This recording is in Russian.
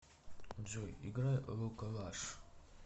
джой играй лука лаш